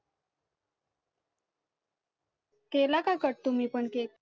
केला का cut तुम्ही पण cake